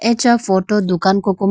acha photo dukan koko ma.